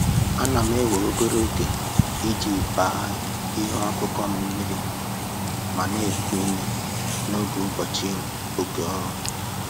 Ana m ewe obere oge iji gbaa ihe akụkụ m mmiri ma na-eku ume n'oge ụbọchị oké ọrụ